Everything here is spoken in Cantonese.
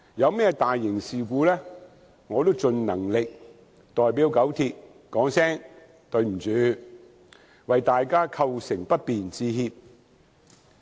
當發生大型事故時，我也盡能力代表九鐵說一聲"對不起，為大家構成不便致歉"。